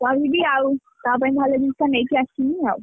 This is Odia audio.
ହଁ, କହିବି ଆଉ, ତାପାଇଁ ନହେଲେ ଜିନିଷ ନେଇକି ଆସିବି ଆଉ।